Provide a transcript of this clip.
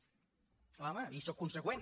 clar home i sóc conseqüent